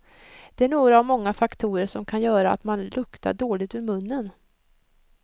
Det är några av många faktorer som kan göra att man luktar dåligt ur munnen.